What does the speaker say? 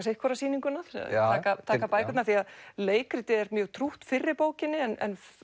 sitt hvora sýninguna og taka bækurnar því leikritið er mjög trútt fyrri bókinni en